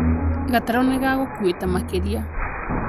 Gatarũ nĩ gagũkũĩte makĩria